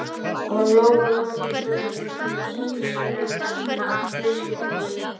Og Lóa-Lóa gekk örugg við hlið systur sinnar í áttina að fiskbúðinni.